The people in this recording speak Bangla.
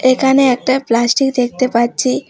এখানে একটা প্লাস্টিক দেখতে পাচ্ছি।